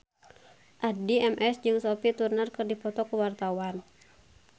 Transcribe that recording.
Addie MS jeung Sophie Turner keur dipoto ku wartawan